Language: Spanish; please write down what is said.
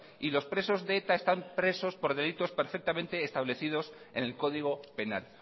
y los presos de eta están presos por delitos perfectamente establecidos en el código penal